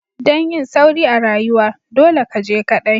Dan yin sauri a rayuwa, dolle ka je kadai!